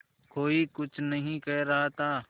कोई कुछ नहीं कह रहा था